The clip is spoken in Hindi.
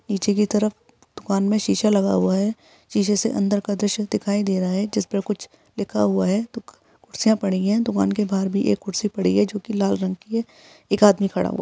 नीचे की तरफ दुकान में शीशा लगा हुआ है शीशे से अन्दर का दृश्य दिखाई दे रहा है जिस पे कुछ लिखा हुआ है कुर्सियाँ पड़ी है दुकान के बाहर भी एक कुर्सी पड़ी है जो कि लाल रंग की है एक आदमी खड़ा हुआ --